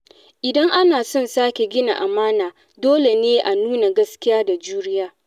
Idan ana son sake gina amana, dole ne a nuna gaskiya da juriya.